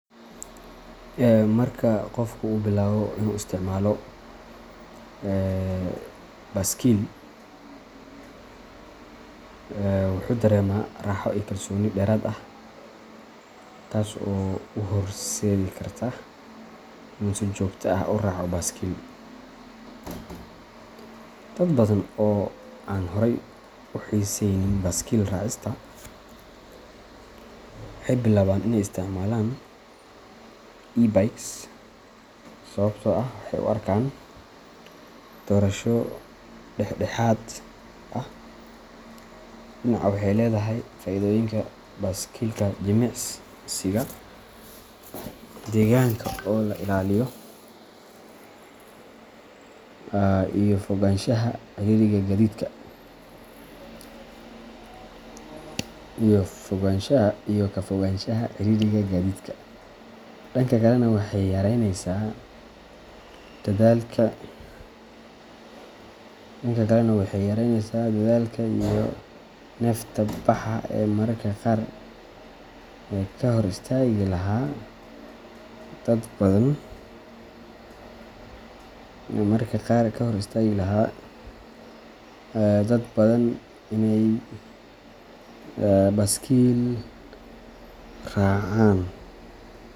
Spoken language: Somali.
Marka qofku uu bilaabo inuu isticmaalo baaskiil, wuxuu dareemaa raaxo iyo kalsooni dheeraad ah, taas oo u horseedi karta inuu si joogto ah u raaco baaskiil. Dad badan oo aan horay u xiisaynin baaskiil raacista waxay bilaabaan in ay isticmaalaan e-bikes sababtoo ah waxay u arkaan doorasho dhexdhexaad ah: dhinac waxay leedahay faa’iidooyinka baaskiilka jimicsiga, deegaanka oo la ilaaliyo iyo ka fogaanshaha ciriiriga gaadiidka, dhanka kalena waxay yaraynaysaa dadaalka iyo neefta baxa ee mararka qaar ka hor istaagi lahaa dad badan inay baaskiil raacaan.